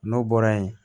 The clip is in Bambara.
N'o bɔra yen